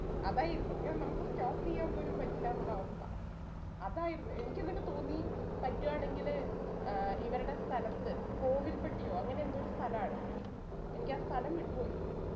അതായിരുന്നു ഇങ്ങനെ നമ്മക്ക് stop ചെയ്യാൻ പോലും പറ്റില്ലാന്നുള്ള അവസ്ഥ അതായിരുന്നു എനിക്ക് എന്നിട്ട് തോന്നി പറ്റുആണെങ്കില് ഏർ ഇവരുടെ സ്ഥലത്തു കോവിൽപട്ടിയോ അങ്ങനെയെന്തോരു സ്ഥലാണ് എനിക്കാ സ്ഥലം വിട്ടു പോയി